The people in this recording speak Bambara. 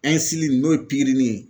n'o ye pikiri